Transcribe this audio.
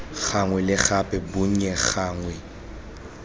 gangwe le gape bonnye gangwe